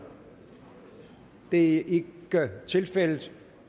det er ikke tilfældet